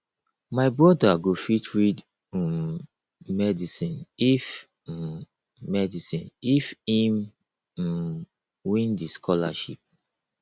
my broda go fit read um medicine if um medicine if im um win di scholarship